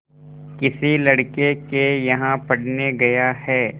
किसी लड़के के यहाँ पढ़ने गया है